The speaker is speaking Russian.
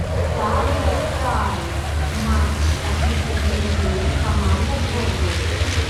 самый старый матч английской премьер лиги команда борнмут